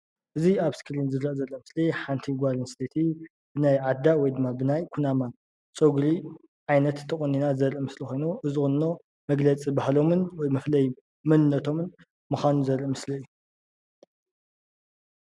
እዚይ ኣብ እስክሪን ዝርኣ ዘሎ ምስሊ ሓንቲ ጎል ኣንስትየቲ ናይ ዓዳ ወይ ድማ ብናይ ኩናማ ፀጉሪ ዓይነት ተቆኒና ዘሪኢ ምስሊ ኮይኑ እዚ ቁኖ መግለፂ ባህሎምን መፍለይ መንነተሙን ምኻኑ ዘርኢ ምስሊ እዩ።